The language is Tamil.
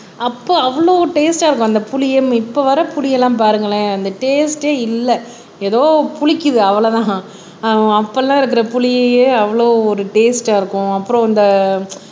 அப்போ அவ்வளவு டேஸ்ட்டா இருக்கும் அந்த புளியம் இப்ப வர புளியெல்லாம் பாருங்களேன் அந்த டேஸ்ட்டா இல்லை எதோ புளிக்குது அவ்வளவுதான் ஆஹ் அப்ப எல்லாம் இருக்கிற புளியையே அவ்வளவு ஒரு டேஸ்ட்டா இருக்கும் அப்புறம் அந்த